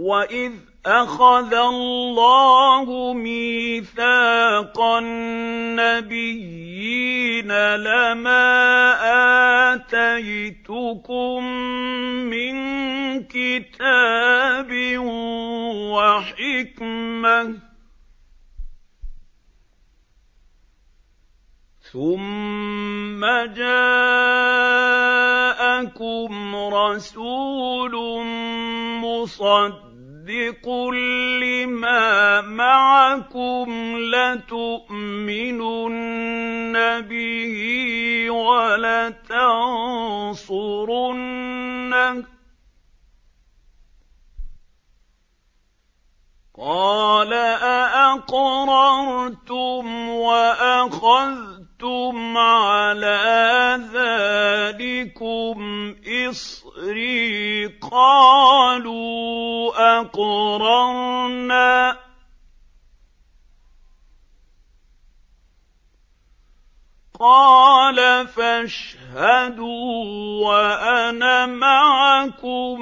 وَإِذْ أَخَذَ اللَّهُ مِيثَاقَ النَّبِيِّينَ لَمَا آتَيْتُكُم مِّن كِتَابٍ وَحِكْمَةٍ ثُمَّ جَاءَكُمْ رَسُولٌ مُّصَدِّقٌ لِّمَا مَعَكُمْ لَتُؤْمِنُنَّ بِهِ وَلَتَنصُرُنَّهُ ۚ قَالَ أَأَقْرَرْتُمْ وَأَخَذْتُمْ عَلَىٰ ذَٰلِكُمْ إِصْرِي ۖ قَالُوا أَقْرَرْنَا ۚ قَالَ فَاشْهَدُوا وَأَنَا مَعَكُم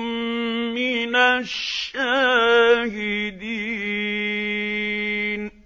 مِّنَ الشَّاهِدِينَ